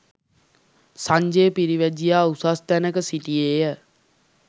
සංජය පිරිවැජියා උසස් තැනක සිටියේ ය.